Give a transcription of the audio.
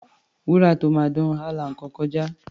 Wúrà tó máa dán, á la iná kọjá.